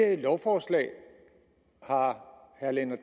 at dette lovforslag har herre lennart